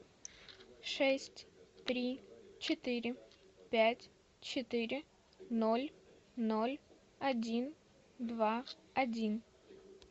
шесть три четыре пять четыре ноль ноль один два один